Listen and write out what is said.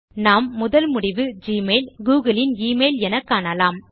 நாம் முதல் முடிவு ஜிமெயில் கூகிள் இன் எமெயில் எனக்காணலாம்